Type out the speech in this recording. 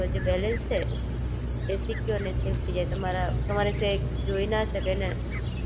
એટલે કે તમારા Google Pay નો કોઈ ઉપયોગ ના કરી શકે, એટલે સેફ અને Secure રહે એના માટે, UPI ID નાખીને જે Bank માં જેટલું Amount છે,